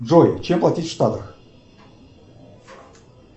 джой чем платить в штатах